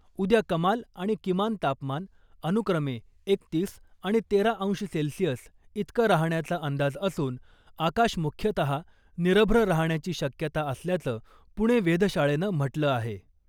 उद्या कमाल आणि किमान तापमान अनुक्रमे एकतीस आणि तेरा अंश सेल्सिअस इतकं राहण्याचा अंदाज असून आकाश मुख्यतः निरभ्र राहण्याची शक्यता असल्याचं पुणे वेधशाळेनं म्हटलं आहे .